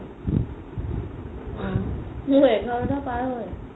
অ মোৰ এঘৰাটা পাৰ হয়